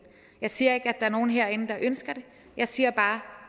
jeg siger ikke at er nogen herinde der ønsker det jeg siger bare